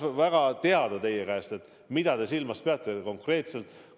Ma tahaksin väga teie käest teada saada, mida te konkreetselt silmas peate.